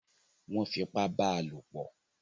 Wọ́n fi ipá bá lopọ̀.